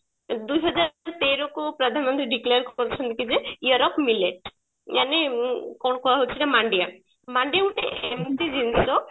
ଦୁଇ ହଜାର ତେର କୁ ପ୍ରଧାନମନ୍ତ୍ରୀ declare କରିଛନ୍ତି ଯେ year of millet ମାନେ କଣ କୁହାଯାଉଛି ସେଟା ମାଣ୍ଡିଆ ମାଣ୍ଡିଆ ହଉଛି ଏମତି ଜିନିଷ